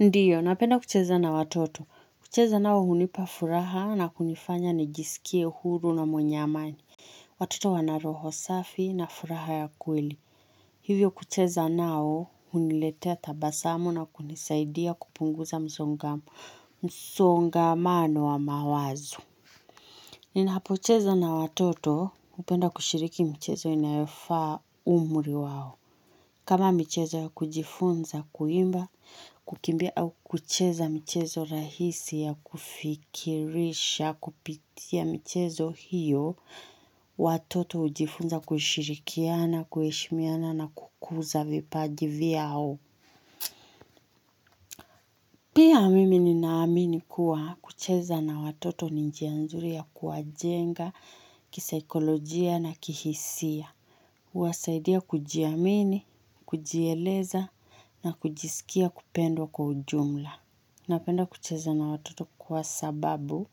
Ndio, napenda kucheza na watoto. Kucheza nao hunipa furaha na kunifanya nijisikie huru na mwenye amani. Watoto wana roho safi na furaha ya kweli. Hivyo kucheza nao, huniletea tabasamu na kunisaidia kupunguza msongamano wa mawazu. Nina pocheza na watoto, hupenda kushiriki mchezo inayofaa, umri wao. Kama michezo ya kujifunza kuimba, kukimbia au kucheza michezo rahisi ya kufikirisha, kupitia mchezo hiyo, watoto ujifunza kushirikiana, kueshimiana na kukuza vipaji vyao. Pia, mimi nina amini kuwa, kucheza na watoto ni njia nzuri ya kuwa jenga, kisaikolojia na kihisia. Uwasaidia kujiamini, kujieleza na kujisikia kupendwa kwa ujumla. Napenda kucheza na watoto kwa sababu,